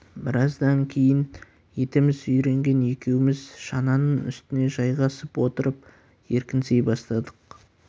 біраздан кейін етіміз үйренген екеуміз шананың үстіне жайғасып отырып еркінси бастадық